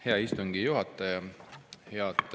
Hea istungi juhataja!